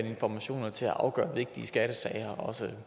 informationer til at afgøre vigtige skattesager og også